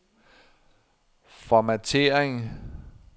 formattering